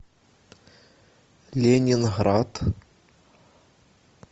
ленинград